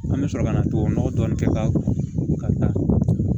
An bɛ sɔrɔ ka na tubabu nɔgɔ dɔɔni kɛ k'a taa